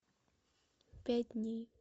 пять дней